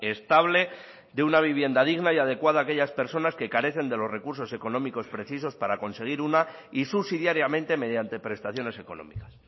estable de una vivienda digna y adecuada a aquellas personas que carecen de los recursos económicos precisos para conseguir una y subsidiariamente mediante prestaciones económicas